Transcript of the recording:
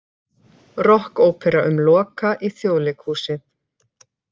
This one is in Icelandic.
Rokkópera um Loka í Þjóðleikhúsið